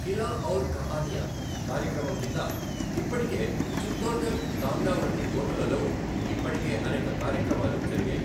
ఖిలా ఔర్ కహనియా కార్యక్రమం కింద ఇప్పటికే చిత్తోర్ఘర్, కాంగ్రా వంటి కోటలలో ఇప్పటికే అనేక కార్యక్రమాలు జరిగాయి.